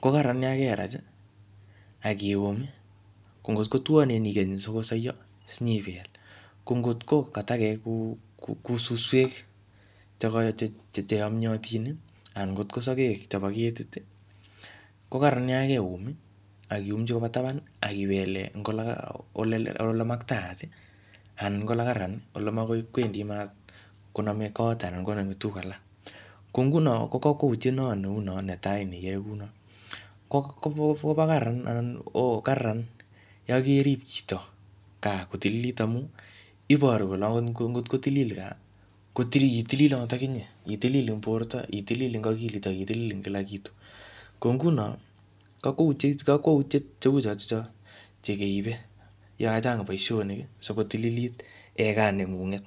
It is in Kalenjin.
Ko karararan yakerach, akium. Ko ngot ko tuanen ikany sikosaio siniybel. Ko ngotko ka takek kou suswek che yomyotin anan ngotko sagek chebo ketit, ko kararan yakeum, akiumchi koba taban, akibele ing ole makataat, anan ko ole kararan ole magoi kwendi maat koname kot anan koname tuguk alak. Ko nguno ko kakwautiet noo neuno netai ne iyae kounot. Kobo kararan anan ko kararan yakerip chito gaa kotilili amu iboru kole angot kotilil gaa, ko titililot akinye. Itilil ing borto, itilili ing akilit, akitilil ing kila kitu. Ko nguno kakwautiet cheu chotocho che keibe yachang boisonik sikotililit gaa neng'ung'et.